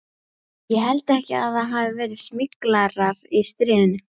Ég held ekki að það hafi verið smyglarar í stríðinu.